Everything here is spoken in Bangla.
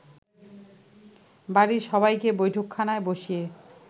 বাড়ির সবাইকে বৈঠকখানায় বসিয়ে